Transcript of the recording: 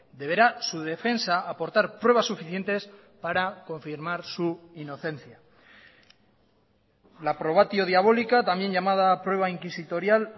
deberá su defensa aportar pruebas suficientes para confirmar su inocencia la probatio diabolica también llamada prueba inquisitorial